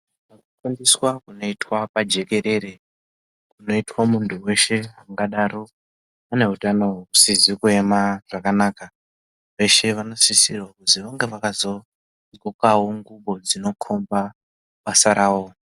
Kufundiswa kunoitwa pajekerere kunoitwa mundu weshe ungadaro ane hutano husizi kuyema zvakanaka vese vanokurudzirwa kuzi vange vakazogqokawo nguwo dzinokomba basa rawo.